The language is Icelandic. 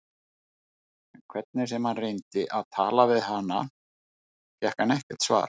En hvernig sem hann reyndi að tala við hana fékk hann ekkert svar.